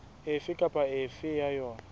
efe kapa efe ya yona